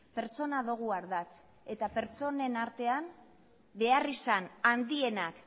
pertsona dogu ardatz eta pertsonen artean beharrizan handienak